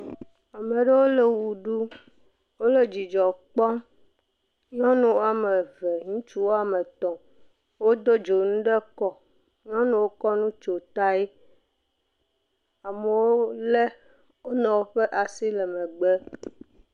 Ame aɖewo le wɔ ɖum. Wole dzidzɔ kpɔm. nyɔnu woame eve, ŋutsu woame eve wode dzonu de kɔ. Nyɔnuawo kɔ nu kɔ tsɔ ta. Amewo ƒe asi le megbe.